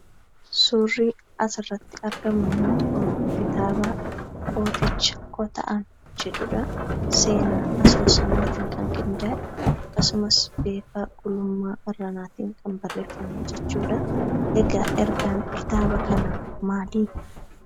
Suurri asirratti argamummoo kitaaba kooticha kota'ame jedhudhaa, seenaa asoosamaatiin kan qindaa'e akkasumas beekaa gulummaa irranaatiin kan barreefame jechuudha. egaa ergaan kitaaba kanaa maalii?